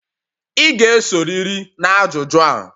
Ị ga-esorịrị na ajụjụ a.